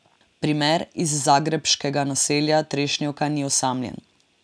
Primer iz zagrebškega naselja Trešnjevka ni osamljen.